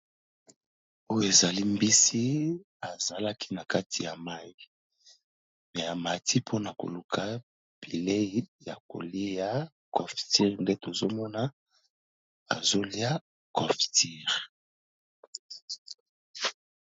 Oyo ezali mbisi azalaki na kati ya mayi pe ya matiti, mpona koluka bilei ya ko liya cofture nde tozo mona azo lia cofture.